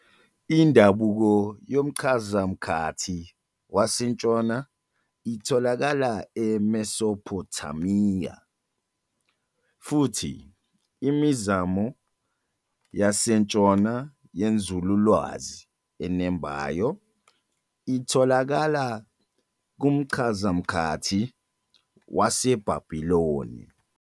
Indabuko yomchazamkhathi wasentshona itholakala eMesophothamiya, futhi imizamo yasentshona yenzululwazi enembayo itholakala kumchazamkhathi waseBhabhiloni.